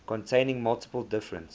containing multiple different